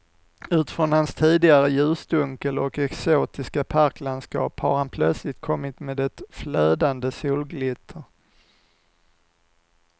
Ut från hans tidigare ljusdunkel och exotiska parklandskap har han plötsligt kommit med ett flödande solglitter.